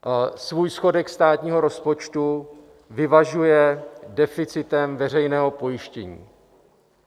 Svůj schodek státního rozpočtu vyvažuje deficitem veřejného pojištění.